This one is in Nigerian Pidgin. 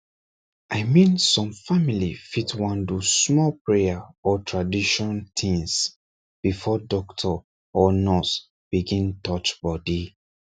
i mean some family fit wan do small prayer or tradition things before doctor or nurse begin touch body